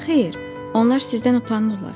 Xeyr, onlar sizdən utanırlar.